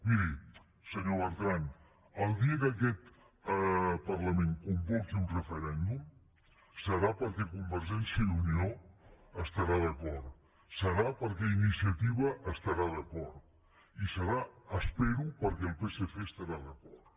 miri senyor bertran el dia que aquest parlament convoqui un referèndum serà perquè convergència i unió hi estarà d’acord serà perquè iniciativa hi estarà d’acord i serà ho espero perquè el psc hi estarà d’acord